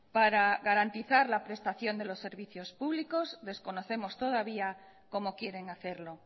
para garantizar la prestación de los servicios públicos desconocemos todavía como quieren hacerlo